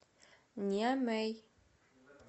ниамей